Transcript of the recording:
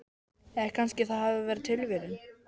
Eða kannski það hafi verið tilviljun.